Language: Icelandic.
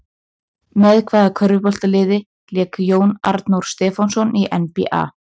Með hvaða körfuboltaliði lék Jón Arnór Stefánsson í NBA?